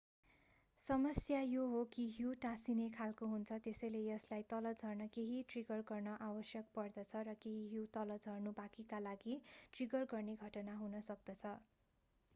समस्या यो हो कि हिउँ टाँसिने खालको हुन्छ त्यसैले यसलाई तल झर्न केही ट्रिगर गर्न आवश्यक पर्दछ र केही हिउँ तल झर्नु बाँकीका लागि ट्रिगर गर्ने घटना हुन सक्दछ